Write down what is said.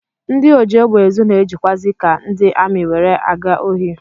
Ndị ojiegbeezu na-ejikwazi ka ndị amị were aga ohi